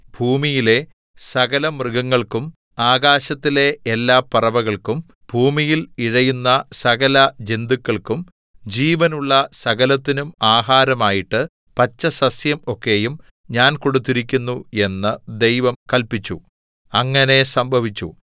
ഭൂമിയിലെ സകലമൃഗങ്ങൾക്കും ആകാശത്തിലെ എല്ലാ പറവകൾക്കും ഭൂമിയിൽ ഇഴയുന്ന സകല ജന്തുക്കൾക്കും ജീവനുള്ള സകലത്തിനും ആഹാരമായിട്ടു പച്ചസസ്യം ഒക്കെയും ഞാൻ കൊടുത്തിരിക്കുന്നു എന്നു ദൈവം കല്പിച്ചു അങ്ങനെ സംഭവിച്ചു